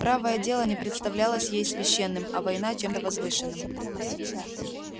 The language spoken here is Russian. правое дело не представлялось ей священным а война чем-то возвышенным